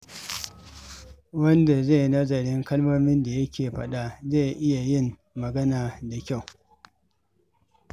Wanda ke nazarin kalmomin da yake faɗa zai fi iya yin magana da kyau.